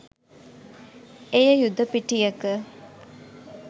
එය යුද පිටියක